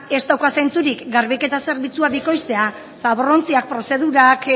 ez dauka zentzurik garbiketa zerbitzua bikoiztea zaborrontziak prozedurak